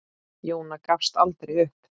Jóna gafst aldrei upp.